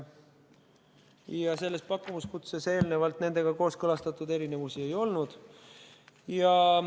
Ja selles pakkumuskutses eelnevalt nendega kooskõlastatud erinevusi ei olnud.